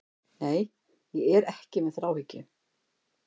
Nei, ég er ekki með þráhyggju.